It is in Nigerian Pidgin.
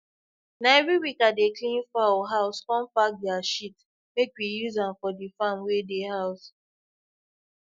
na every week i dey clean foul house com pack their shit make we use am for the farm wey dey house